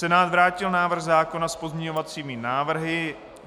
Senát vrátil návrh zákona s pozměňovacími návrhy.